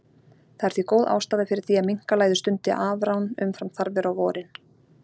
Það er því góð ástæða fyrir því að minkalæður stundi afrán umfram þarfir á vorin.